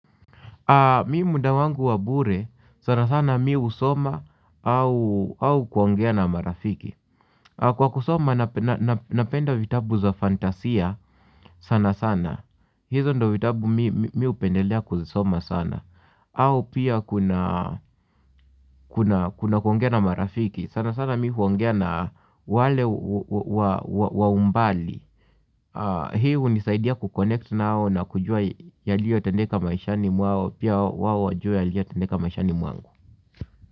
Mi muda wangu wa bure, sana sana mi husoma au au kuongea na marafiki. Kwa kusoma napenda vitabu za fantasia sana sana. Hizo ndo vitabu mi hupendelea kuzisoma sana. Au pia kuna, kuna, kuna kuongea na marafiki. Sana sana mi huongea na wale wa umbali. Hii hunisaidia kukonnect nao na kujua yaliyotendeka maishani mwao pia wao wajue yaliyotendeka maishani mwangu.